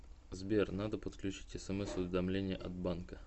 сбер надо подключить смс уведомления от банка